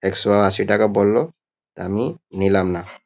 একশো আশি টাকা বললো আমি নিলাম না।